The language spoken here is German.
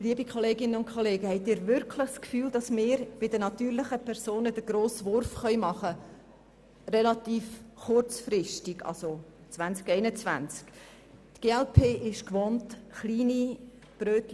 Liebe Kolleginnen und Kollegen, haben Sie wirklich den Eindruck, dass wir bei den natürlichen Personen in relativ kurzer Zeit einen grossen Wurf hinbekommen können?